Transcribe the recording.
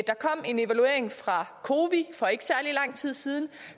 der kom en evaluering fra cowi for ikke særlig lang tid siden